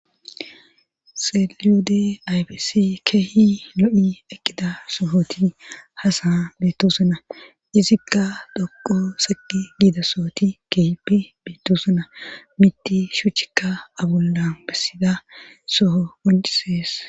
Seliyode aybesi keehi lo'i eqqida sohoti hasana betoosonna izikka dhoqo seqi giida sohoti keehipe bettoosena miti shuchikka abullan bessida soho goncisees.